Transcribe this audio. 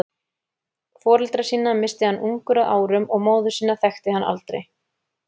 Foreldra sína missti hann ungur að árum og móður sína þekkti hann aldrei.